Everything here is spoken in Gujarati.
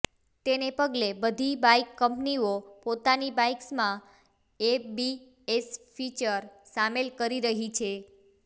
તેને પગલે બધી બાઈક કંપનીઓ પોતાની બાઈક્સમાં એબીએસ ફીચર સામેલ કરી રહી છે